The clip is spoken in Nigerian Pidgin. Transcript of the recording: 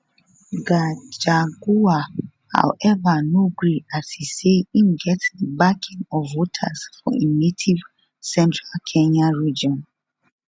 gachagua however no gree as e say im get di backing of voters for im native central kenya region